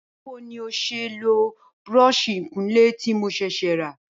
Báwo ni n óò s̩e lo búró̩ò̩s̩ì ìkunlé tí mo s̩è̩s̩è̩ rà?